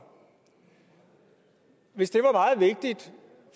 hvis det